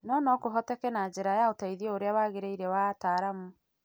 no no kũhoteke na njĩra ya ũteithio ũrĩa waagĩrĩire wa ataaramu.